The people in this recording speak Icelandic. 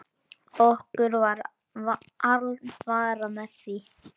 Okkur var alvara með því.